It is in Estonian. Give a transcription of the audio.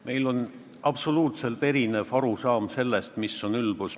Meil on absoluutselt erinev arusaam sellest, mis on ülbus.